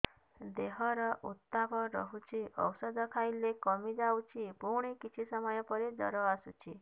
ଦେହର ଉତ୍ତାପ ରହୁଛି ଔଷଧ ଖାଇଲେ କମିଯାଉଛି ପୁଣି କିଛି ସମୟ ପରେ ଜ୍ୱର ଆସୁଛି